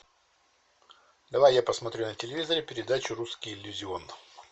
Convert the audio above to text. давай я посмотрю на телевизоре передачу русский иллюзион